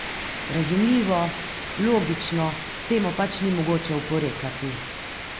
Razumljivo, logično, temu pač ni mogoče oporekati.